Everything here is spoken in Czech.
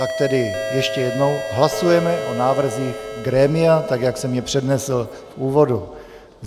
Tak tedy ještě jednou hlasujeme o návrzích grémia, tak jak jsem je přednesl v úvodu.